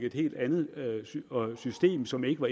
et helt andet system som ikke lå